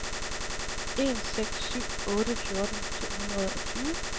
en seks syv otte fjorten to hundrede og tyve